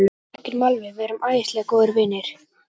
Hann þekkir mig alveg, við erum æðislega góðir vinir.